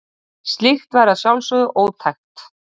Slíkt væri að sjálfsögðu ótækt.